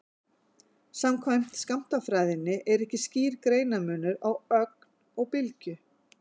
Samkvæmt skammtafræðinni er ekki skýr greinarmunur á ögn og bylgju.